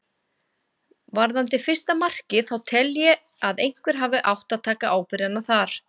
Varðandi fyrsta markið þá tel ég að einhver hafi átt að taka ábyrgðina þar.